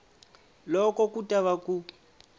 loko ku ta va ku